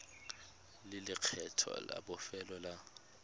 le lekgetho la bofelo la